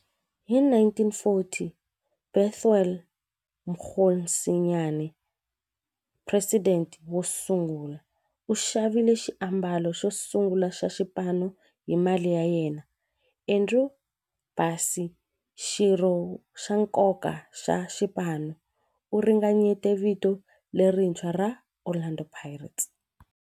Hi 1940, Bethuel Mokgosinyane, president wosungula, u xavile xiambalo xosungula xa xipano hi mali ya yena. Andrew Bassie, xirho xa nkoka xa xipano, u ringanyete vito lerintshwa ra 'Orlando Pirates'.